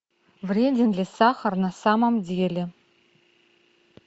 вреден ли сахар на самом деле